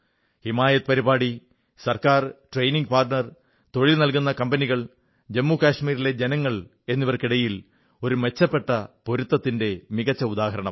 ഹിമായത് പരിപാടി government training partner തൊഴിൽ നല്കുന്ന കമ്പനികൾ ജമ്മു കാശ്മീരിലെ ജനങ്ങൾ എന്നിവർക്കിടയിൽ ഒരു മെച്ചപ്പെട്ട പൊരുത്തത്തിന്റെ മികച്ച ഉദാഹരണമാണ്